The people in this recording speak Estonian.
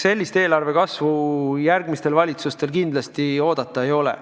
Sellist eelarve kasvu järgmistel valitsustel kindlasti oodata ei maksa.